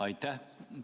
Aitäh!